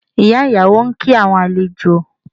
Ìyá ìyàwó ń kí àwọn àlejò